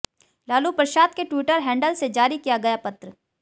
लालू प्रसाद के Twitter handle से जारी किया गया पत्र